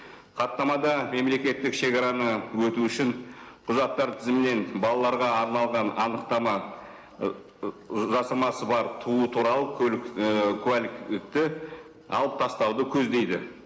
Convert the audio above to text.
хаттамада мемлекеттік шегараны өту үшін құжаттар тізімінен балаларға арналған анықтама жасамасы бар туу туралы ііі куәлікті алып тастауды көздейді